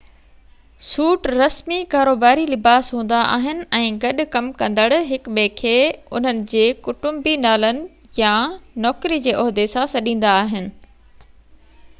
سوٽ رسمي ڪاروباري لباس هوندا آهن ۽ گڏ ڪم ڪندڙ هڪ ٻئي کي انهن جي ڪٽنبي نالن يا نوڪري جي عهدي سان سڏيندا آهن